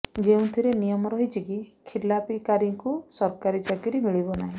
ଯେଉଁଥିରେ ନିୟମ ରହିଛି କି ଖିଲାପୀକାରୀଙ୍କୁ ସରକାରୀ ଚାକିରି ମିଳିବ ନାହିଁ